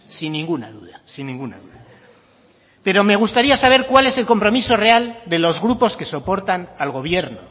sin ninguna duda sin ninguna duda pero me gustaría saber cuál es el compromiso real de los grupos que soportan al gobierno